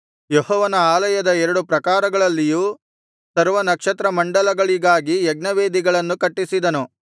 ಯೆಹೋವನ ಆಲಯದ ಎರಡು ಪ್ರಾಕಾರಗಳಲ್ಲಿಯೂ ಸರ್ವ ನಕ್ಷತ್ರಮಂಡಲಗಳಿಗಾಗಿ ಯಜ್ಞವೇದಿಗಳನ್ನು ಕಟ್ಟಿಸಿದನು